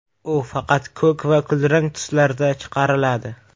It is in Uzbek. U faqat ko‘k va kulrang tuslarda chiqariladi.